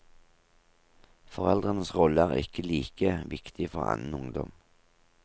Foreldrenes rolle er ikke like viktig for annen ungdom.